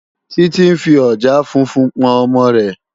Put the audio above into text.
Titi n fí òjàá fúnfún pòn òmò rè